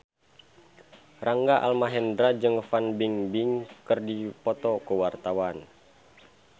Rangga Almahendra jeung Fan Bingbing keur dipoto ku wartawan